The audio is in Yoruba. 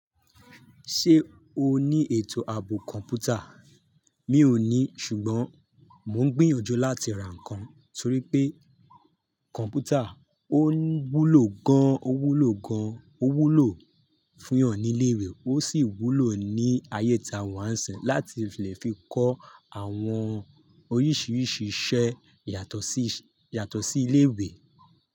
Ṣé o ní ètò ààbò kọ̀m̀pútà? Mi ò ní, ṣùgbọ́n mò ń gbìyànjú láti ra nǹkan torí pé kọ̀m̀pútà ò wúlò gan an, ò wúlò gan an, ò wúlò fún ìyàn ní ilé ìwé, ó sì wúlò ní ayé ta wà sẹ̀ láti fi fi kọ́ àwọn oríṣiríṣi iṣẹ́ yàtọ̀ sí, yàtọ̀ sí ilé ìwé.